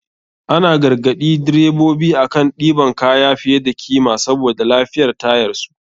An garagaɗi drebobi akan ɗiban kaya fiye da kima saboda lafiyar tayarsu.